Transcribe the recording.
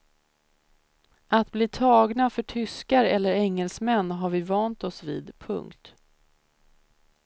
Att bli tagna för tyskar eller engelsmän har vi vant oss vid. punkt